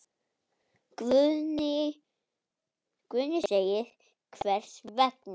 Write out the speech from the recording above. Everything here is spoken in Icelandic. Guðný: Hvers vegna?